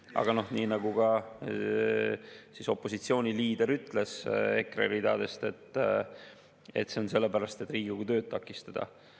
Aga nii nagu ütles ka opositsiooniliider EKRE ridadest, seda on tehtud sellepärast, et Riigikogu tööd takistada.